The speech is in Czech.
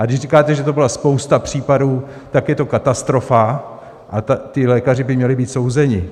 A když říkáte, že to byla spousta případů, tak je to katastrofa a ti lékaři by měli být souzeni.